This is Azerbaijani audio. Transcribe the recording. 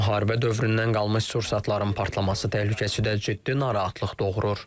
Müharibə dövründən qalmış sursatların partlaması təhlükəsi də ciddi narahatlıq doğurur.